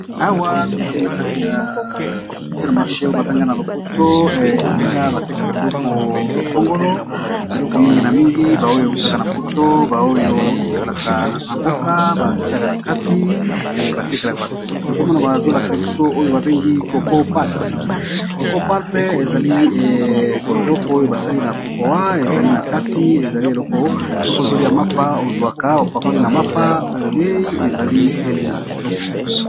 Awa tozali na kati ya super marche oyo babenga na lopoto esika batekaka biloko songolo biloko mingi na mingi ba oyo ewutaka na poto ba oyo ezalaka na mboka batiaka na kati e batekelaka batu tozomona ma azolakisa biso oyo babengi coco palpe ezali biloko oyo basali na kokoa ezali na kati ezali eloko sokiozolia mapa ozwaka opakoli na mapa oliei ezali elengi kitoko.